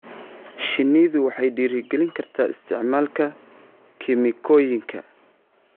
Shinnidu waxay dhiirigelin kartaa isticmaalka kiimikooyinka.